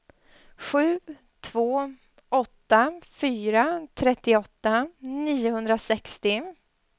sju två åtta fyra trettioåtta niohundrasextio